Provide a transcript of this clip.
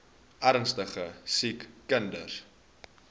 ernstige siek kinders